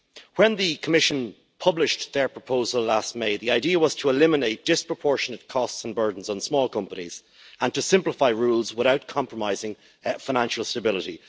When the Commission published their proposal last May, the idea was to eliminate disproportionate costs and burdens on small companies and to simplify rules without compromising financial stability.